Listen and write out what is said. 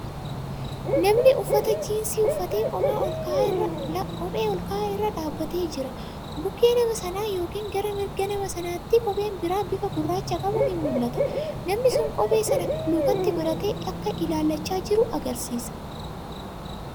Namni uffata jiinsii uffatee kophee olka'aa irra dhaabatee jira. Bukkee nama sanaa yookiin gara mirga nama sanaatti kopheen kan bira bifa gurraacha qabu ni mul'ata. Namni sun kophee sana lukatti godhattee akka ilaallachaa jirtu agarsiisa.